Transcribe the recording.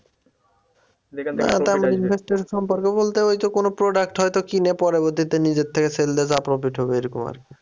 সম্পর্কে বলতে ওই তো কোন product হয়তো কি নিয়ে পরবর্তীতে নিজের থেকে sell দিয়ে যা profit হবে এরকম আর কি